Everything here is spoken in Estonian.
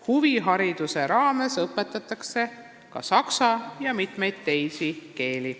Huvihariduse raames õpetatakse ka saksa keelt ja mitmeid teisi keeli.